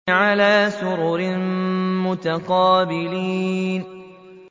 عَلَىٰ سُرُرٍ مُّتَقَابِلِينَ